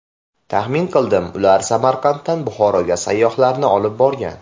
Taxmin qildim, ular Samarqanddan Buxoroga sayyohlarni olib borgan.